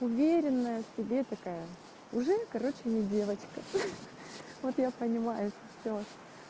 уверенная в себе такая уже короче не девочка вот я понимаю всё